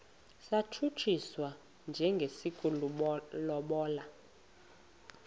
satshutshiswa njengesi sokulobola